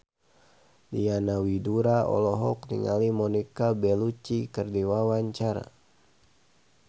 Diana Widoera olohok ningali Monica Belluci keur diwawancara